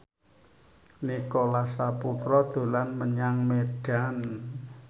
Nicholas Saputra dolan menyang Medan